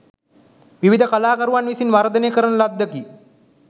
විවිධ කලාකරුවන් විසින් වර්ධනය කරන ලද්දකි.